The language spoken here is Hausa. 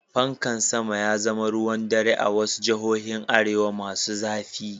Pankan sama ya zama ruwan dare a wasu jihohin arewa masu zafi.